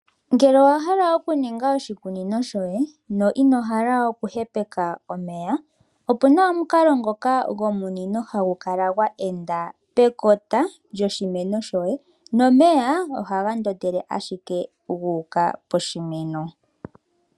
Ngele owa hala okuninga oshikunino shoye, no ino hala okuhepeka omeya, opuna omukalo ngoka gomunino hagu kala gwa enda pekota lyoshimeno shoye nomeya ohaga ndondele ashike guuka poshimeno.